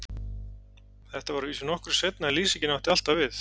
Þetta var að vísu nokkru seinna en lýsingin á alltaf við.